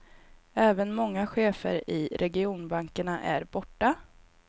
Även många chefer i regionbankerna är borta.